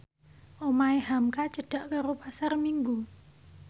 omahe hamka cedhak karo Pasar Minggu